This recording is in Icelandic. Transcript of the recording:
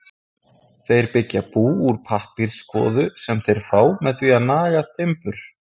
Þeir byggja bú úr pappírskvoðu sem þeir fá með því að naga timbur.